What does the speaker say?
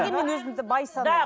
өзімді бай санаймын